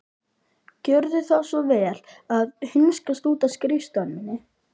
Gjörðu þá svo vel að hunskast út af skrifstofunni minni.